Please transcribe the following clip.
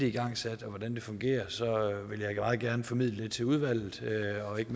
igangsat og hvordan det fungerer vil jeg meget gerne formidle det til udvalget og ikke